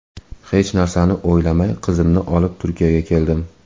Hech narsani o‘ylamay qizimni olib Turkiyaga keldim.